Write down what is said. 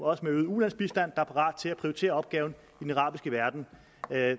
også med øget ulandsbistand er parat til at prioritere opgaven i den arabiske verden